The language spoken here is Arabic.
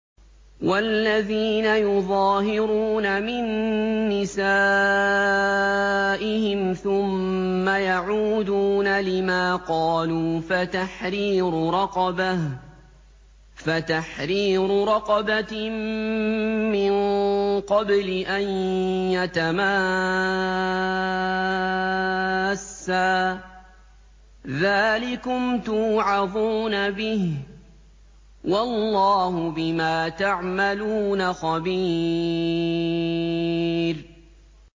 وَالَّذِينَ يُظَاهِرُونَ مِن نِّسَائِهِمْ ثُمَّ يَعُودُونَ لِمَا قَالُوا فَتَحْرِيرُ رَقَبَةٍ مِّن قَبْلِ أَن يَتَمَاسَّا ۚ ذَٰلِكُمْ تُوعَظُونَ بِهِ ۚ وَاللَّهُ بِمَا تَعْمَلُونَ خَبِيرٌ